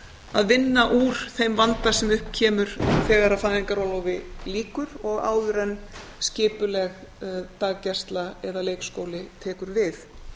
að vinna úr þeim vanda sem upp kemur þegar fæðingarorlofi lýkur og áður en skipuleg daggæsla eða leikskóli tekur við